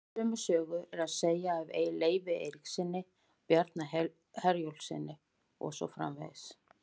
Sömu sögu er að segja af Leifi Eiríkssyni, Bjarna Herjólfssyni og svo framvegis.